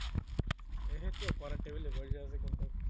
এইতো পড়ার টেবিলে বসে আছি কিন্তু